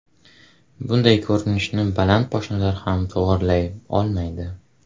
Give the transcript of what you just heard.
Bunday ko‘rinishni baland poshnalar ham to‘g‘rilay olmaydi.